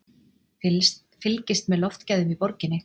Fylgist með loftgæðum í borginni